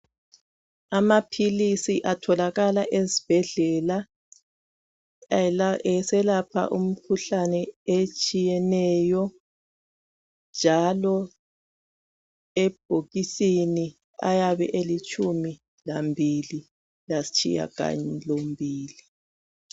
Amaphilisi atholakala ezibhedlela eselapha imikhuhlane etshiyeneyo. Njalo ebhokisini ayabe elitshumi lambili lasitshiya galombili.